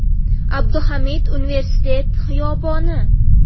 Abduhamid Universitet xiyoboni.